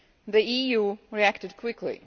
The EU reacted quickly.